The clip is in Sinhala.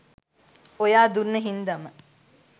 ඔයා දුන්න හින්දම